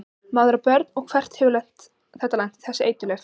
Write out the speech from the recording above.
Maður á börn og hvert hefði þetta lent, þessi eiturlyf?